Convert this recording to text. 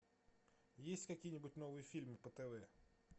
есть какие нибудь новые фильмы по тв